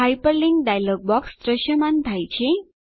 hyperlink dialog box દ્રશ્યમાન થાય છે